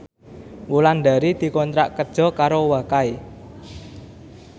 Wulandari dikontrak kerja karo Wakai